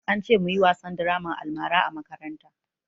An ce mu yi wasan draman almara a makaranta